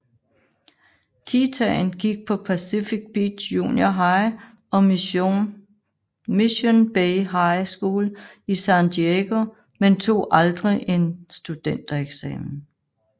Kitaen gik på Pacific Beach Junior High og Mission Bay High School i San Diego men tog aldrig en studentereksamen